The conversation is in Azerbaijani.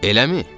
Eləmi?